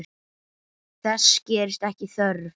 Þess gerist ekki þörf.